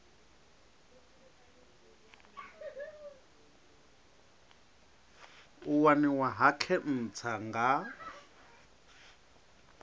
u waniwa ha khentsa nga